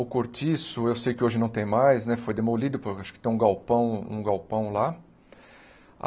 O cortiço, eu sei que hoje não tem mais, né foi demolido, por acho que tem um galpão um galpão lá.